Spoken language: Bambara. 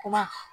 Kuma